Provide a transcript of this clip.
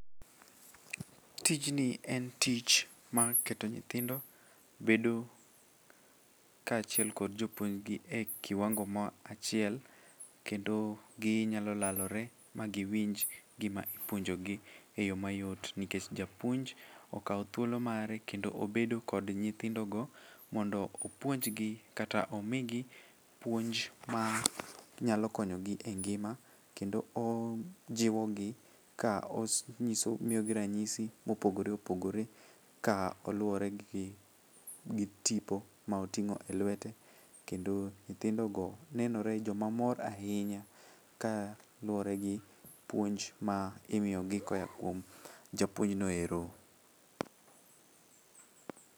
Tijni en tich mar keto nyithindo bedo kaachiel gi jopuonjgi e kiwango ma achiel kendo ginyalo lalore ma giwinj gima ipuonjogi eyo mayot nikech japuonj okawo thuolo mare kendo obedo kod nyithindogo mondo opuonjgi kata mondo omigi puonj manyalo konyo gi e ngima kendo ojiwo gi ka omiyogi ranyisi ma opogore opogore kaluwore gi tipo ma oting'o elwete. Kendo nyithindogo nenore joma mor ahinya ka luwore gi puonj ma imiyogi koa kuom japuonj no ero.